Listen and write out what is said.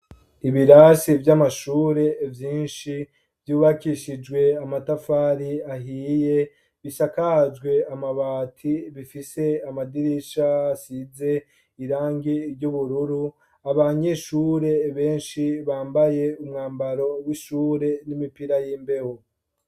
Ibirasi vy' amashure vyinshi, vyubakishijwe amatafari ahiye, bisakajwe amabati, bifise amadirisha asize irangi ry' ubururu, abanyeshure benshi bambaye umwambaro w' ishure n' imipira y' imbeho.